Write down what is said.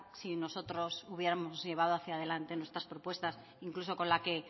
si nosotros hubiéramos llevado hacia adelante nuestras propuestas incluso con la que